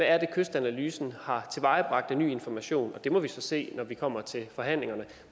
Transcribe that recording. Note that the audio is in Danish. er kystanalysen har tilvejebragt af ny information det må vi så se når vi kommer til forhandlingerne